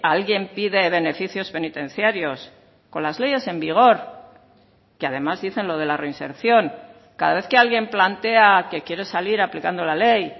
alguien pide beneficios penitenciarios con las leyes en vigor que además dicen lo de la reinserción cada vez que alguien plantea que quiere salir aplicando la ley